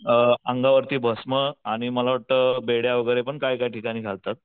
अ अंगावरती भस्म आणि मला वाटत बेड्या वैगेरे पण काय काय ठिकाणी घालतात.